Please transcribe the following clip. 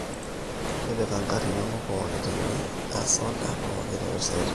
tipika inkarn inono pooki teni aas oda pookin te website ang